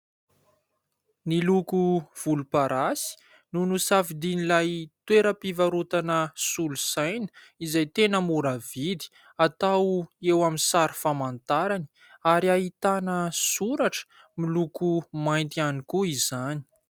Ny loko volomparasy no nisafidian'ilay toeram-pivarotana solosaina izay tena mora vidy, atao eo amin'ny sary famantarana ary ahitana soratra miloko mainty ihany koa izany.